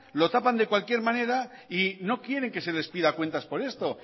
lo tapan de cualquier manera y no quieren que se les pida cuentas por esto